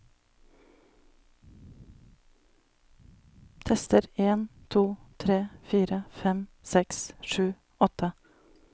Tester en to tre fire fem seks sju åtte